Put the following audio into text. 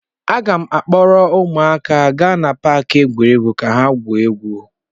Aga m akpọrọ ụmụaka gaa na paakị egwuregwu ka ha gwuo egwu.